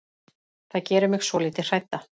Það gerir mig svolítið hrædda.